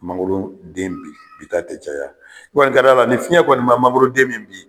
Mangoroden bin ta tɛ caya, i kɔni ka d'a la lni fiɲɛ kɔni ma mangoroden min bin